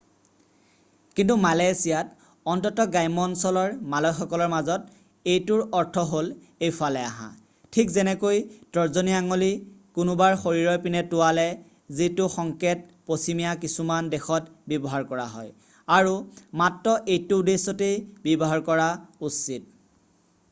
"কিন্তু মালয়েছিয়াত অন্ততঃ গ্ৰাম্য অঞ্চলৰ মালয় সকলৰ মাজত এইটোৰ অৰ্থ হ'ল "এইফালে অহা" ঠিক যেনেকৈ তৰ্জনী আঙুলি কোনোবাৰ শৰীৰৰ পিনে টোঁৱালে যিটো সংকেত পশ্চিমীয়া কিছুমান দেশত ব্যৱহাৰ কৰা হয় আৰু মাত্ৰ এইটো উদ্দেশ্যতেই ব্যৱহাৰ কৰা উচিত।""